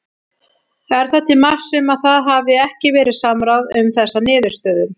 Er það til marks um að það hafi ekki verið samráð um þessa niðurstöðum?